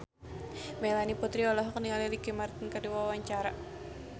Melanie Putri olohok ningali Ricky Martin keur diwawancara